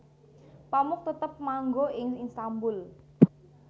Pamuk tetep manggo ing Istanbul